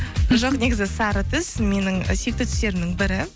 жоқ негізі сары түс менің сүйікті түстерімнің бірі